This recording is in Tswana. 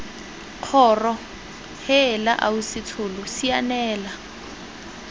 kgoro heela ausi tsholo sianela